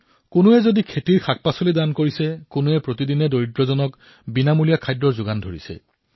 কোনোবাই খেতিৰ সকলো শাকপাচলি দান কৰিছে কোনোবাই দৈনিক শতাধিক দৰিদ্ৰক বিনামুলীয়াকৈ ভোজন কৰাই আছে